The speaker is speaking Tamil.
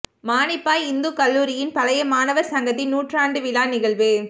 மானிப்பாய் இந்துக்கல்லூரியின் பழைய மாணவர் சங்கத்தின் நூற்றாண்டு விழா நிகழ்வு